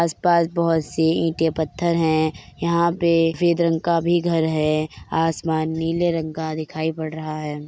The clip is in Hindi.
आसपास बहुत सी ईटे पत्थर हैं यहाँ पे सफेद रंग का भी घर है आसमान नीले रंग का दिखाई पड़ रहा है।